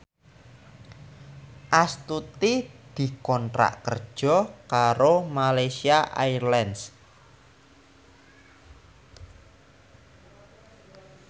Astuti dikontrak kerja karo Malaysia Airlines